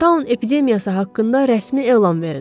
Town epidemiyası haqqında rəsmi elan verin.